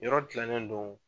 Yɔrɔ tilalen do